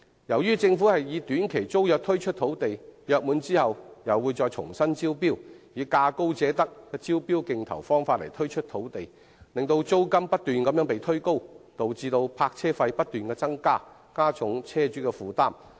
由於政府是以短期租約方式推出土地，約滿後又會重新招標，並以價高者得的招標競投方法推出土地，所以租金不斷被推高，導致泊車費亦不斷增加，進一步加重車主的負擔。